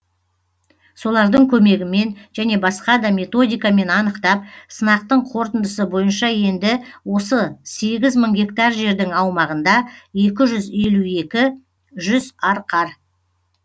солардың көмегімен және басқа да методикамен анықтап сынақтың қорытындысы бойынша енді осы сегіз мың гектар жердің аумағында екі жүз елу екі арқар